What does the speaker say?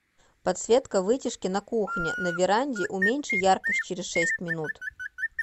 подсветка вытяжки на кухне на веранде уменьши яркость через шесть минут